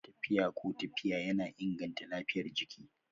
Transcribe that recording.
Tafiya ko tafiya yana inganta lafiyar jiki